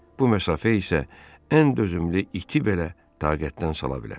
Bu məsafə isə ən dözümlü iti belə taqətdən sala bilər.